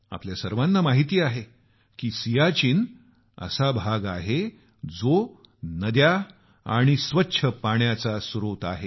आपल्या सर्वाना माहीत आहे की सियाचीन असा भाग आहे की जो नद्या आणि स्वच्छ पाण्याचा स्त्रोत आहे